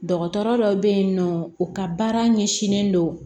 Dɔgɔtɔrɔ dɔ bɛ yen nɔ u ka baara ɲɛsinnen don